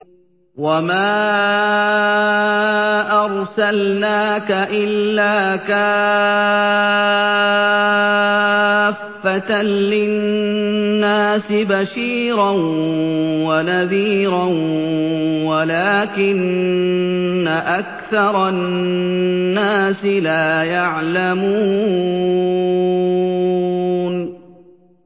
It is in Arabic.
وَمَا أَرْسَلْنَاكَ إِلَّا كَافَّةً لِّلنَّاسِ بَشِيرًا وَنَذِيرًا وَلَٰكِنَّ أَكْثَرَ النَّاسِ لَا يَعْلَمُونَ